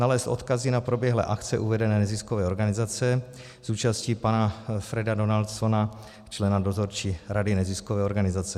nalézt odkazy na proběhlé akce uvedené neziskové organizace s účastí pana Freda Donaldsona, člena dozorčí rady neziskové organizace.